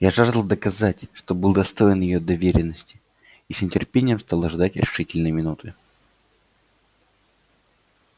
я жаждал доказать что был достоин её доверенности и с нетерпением стал ожидать решительной минуты